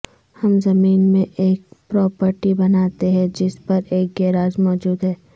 ہم زمین میں ایک پراپرٹی بناتے ہیں جس پر ایک گیراج موجود ہے